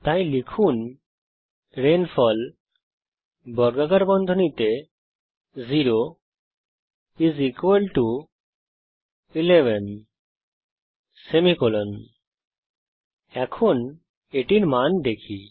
তাই লিখুন রেইনফল 0 11 এখন এটির মান দেখি